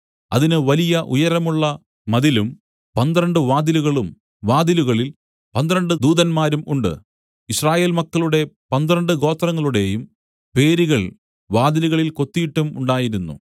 അതിന് വലിയ ഉയരമുള്ള മതിലും പന്ത്രണ്ട് വാതിലുകളും വാതിലുകളിൽ പന്ത്രണ്ട് ദൂതന്മാരും ഉണ്ട് യിസ്രായേൽ മക്കളുടെ പന്ത്രണ്ട് ഗോത്രങ്ങളുടെയും പേരുകൾ വാതിലുകളിൽ കൊത്തീട്ടും ഉണ്ടായിരുന്നു